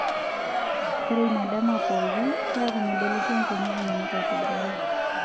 Ore ina dama pookin, keeku medolisho nkonyek inono aitobiraki.